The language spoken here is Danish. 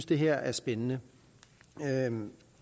det her er spændende